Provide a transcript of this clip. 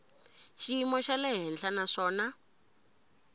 xiyimo xa le henhla naswona